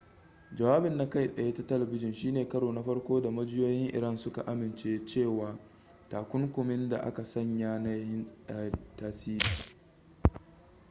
jawabin na kai tsaye ta talbijin shine karo na farko da majiyoyin iran suka amince cewa takunkumin da aka sanya na yin tasiri